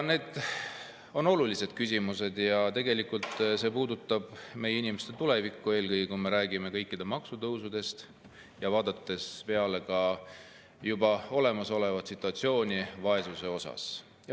Need on aga olulised küsimused ja tegelikult see puudutab meie inimeste tulevikku, eelkõige kui me räägime kõikide maksude tõusudest, samas teades olemasolevat situatsiooni vaesuse osas.